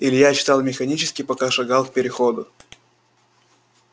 илья читал механически пока шагал к переходу